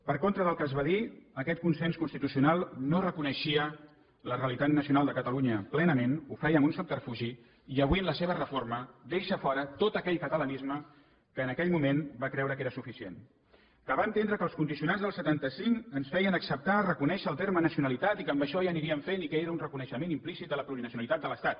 per contra del que es va dir aquest consens constitucional no reconeixia la realitat nacional de catalunya plenament ho feia amb un subterfugi i avui amb la seva reforma deixa fora tot aquell catalanisme que en aquell moment va creure que era suficient que va entendre que els condicionants del setanta cinc ens feien acceptar reconèixer el terme nacionalitat i que amb això ja aniríem fent i que era un reconeixement implícit de la plurinacionalitat de l’estat